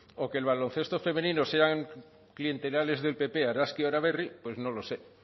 o que el baloncesto femenino sean clientelares del pp argazki araberri pues no lo sé